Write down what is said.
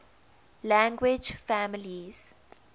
language families